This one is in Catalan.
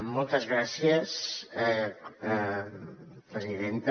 moltes gràcies presidenta